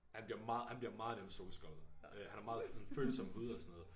Han bliver meget han bliver meget nemt solskoldet øh han har meget sådan følsom hud og sådan noget